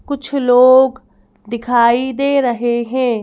कुछ लोग दिखाई दे रहे हैं।